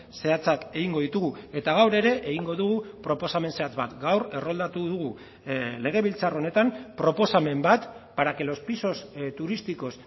zehatzak egingo ditugu eta gaur ere egingo dugu proposamen zehatz bat gaur erroldatu dugu legebiltzar honetan proposamen bat para que los pisos turísticos